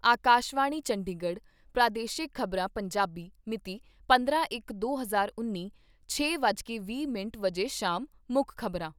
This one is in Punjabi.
ਆਕਾਸ਼ਵਾਣੀ ਚੰਡੀਗੜ੍ਹ ਪ੍ਰਾਦੇਸ਼ਿਕ ਖ਼ਬਰਾਂ , ਪੰਜਾਬੀ ਮਿਤੀ ਪੰਦਰਾਂ ਇਕ ਦੇ ਹਜ਼ਾਰ ਉੱਨੀ, ਛੇ ਵੱਜ ਕੇ ਵੀਹ ਮਿੰਟ ਸ਼ਾਮ ਮੁੱਖ ਖ਼ਬਰਾਂ